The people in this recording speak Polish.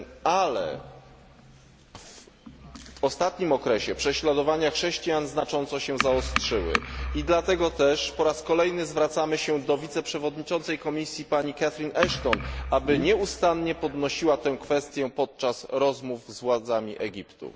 Ale w ostatnim okresie prześladowania chrześcijan znacząco się zaostrzyły i dlatego też po raz kolejny zwracamy się do wiceprzewodniczącej Komisji Catherine Ashton, aby nieustannie podnosiła tę kwestię podczas rozmów z władzami Egiptu.